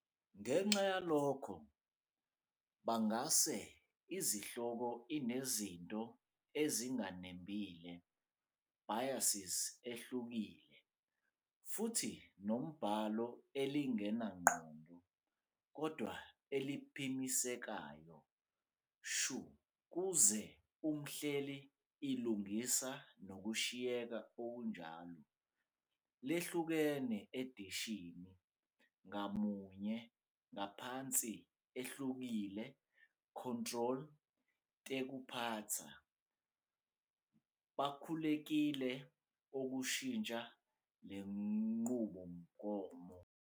Ngenxa yalokho, bangase izihloko inezinto ezinganembile, biases ehlukile, futhi nombhalo elingenangqondo kodwa eliphimiselekayo shu kuze umhleli ilungisa nokushiyeka okunjalo. Lehlukene edishini, ngamunye ngaphansi ehlukile control tekuphatsa, bakhululekile ukushintsha le nqubomgomo.